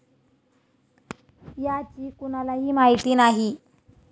याची कुणालाही माहिती नाही.